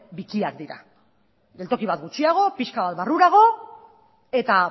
bikiak dira geltoki bat gutxiago pixka bat barrurago eta